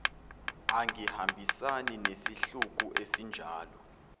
angihambisani nesihluku esinjalo